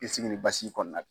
k'i sigi nin basi kɔnɔna